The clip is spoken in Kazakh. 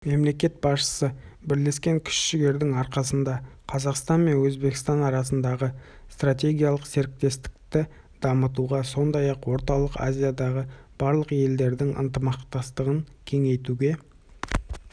мемлекет басшысы бірлескен күш-жігердің арқасында қазақстан мен өзбекстан арасындағы стратегиялық серіктестікті дамытуға сондай-ақ орталық азиядағы барлық елдердің ынтымақтастығын кеңейтуге